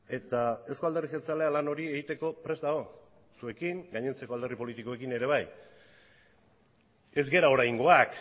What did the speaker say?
eta euzko alderdi jeltzalea lan hori egiteko prest dago zuekin gainontzeko alderdi politikoekin ere bai ez gara oraingoak